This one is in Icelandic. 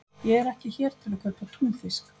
Ég er ekki hér til að kaupa túnfisk.